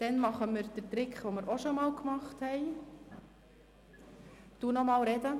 Dann wenden wir den Trick an, den wir auch schon einmal gemacht haben.